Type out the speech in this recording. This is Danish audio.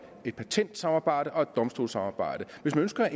et patentsamarbejde og et domstolssamarbejde hvis man ønsker